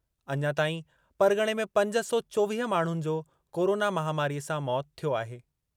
अञा ताईं परग॒णे में पंज सौ चोवीह माण्हुनि जो कोरोना महामारीअ सां मौतु थियो आहे।